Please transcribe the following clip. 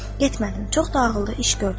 Getmədin, çox da ağıllı iş gördün.